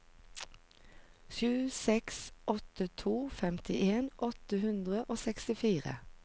sju seks åtte to femtien åtte hundre og sekstifire